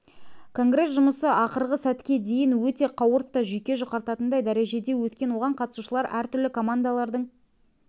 конгресс жұмысы ақырғы сәтке дейін өте қауырт та жүйке жұқартатындай дәрежеде өткен оған қатысушылар әртүрлі командалардың